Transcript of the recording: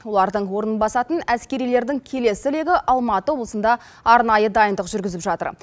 олардың орнын басатын әскерилердің келесі легі алматы облысында арнайы дайындық жүргізіп жатыр